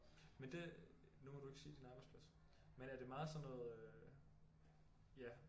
Men det nu må du ikke sige din arbejdsplads men er det meget sådan noget ja